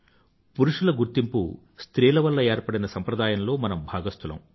పురుషుల గుర్తింపు స్త్రీల వల్ల ఏర్పడిన సంప్రదాయంలో మనం భాగస్తులం